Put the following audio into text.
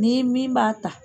Ni min b'a ta